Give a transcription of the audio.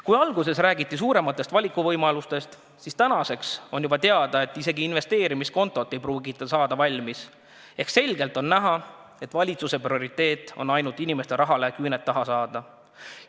Kui alguses räägiti suurematest valikuvõimalustest, siis tänaseks on teada, et isegi investeerimiskontot ei pruugita valmis saada ehk selgelt on näha, et valitsuse prioriteet on ainult inimeste rahale küüned taha saada.